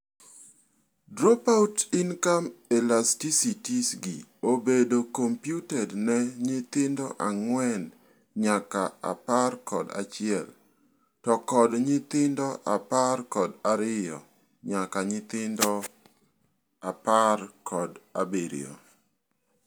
Dropout-income elasticities gi obedo computed ne nyithindo ang'wen nyaka apar kod achiel to kod nyithindo apar kod ariyo nyaka nyithindo apar kod abirio.